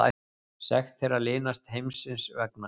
Sekt þeirra linast heimsins vegna.